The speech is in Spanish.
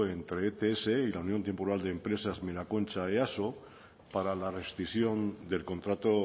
entre ets y la unión temporal de empresas miraconcha easo para la rescisión del contrato